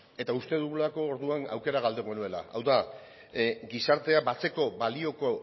eta uste dugulako orduan aukera galduko genuela hau da gizartea batzeko balioko